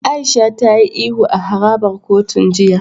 Aisha ta yi ihu a harabar kotun jiya.